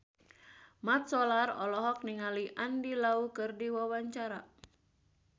Mat Solar olohok ningali Andy Lau keur diwawancara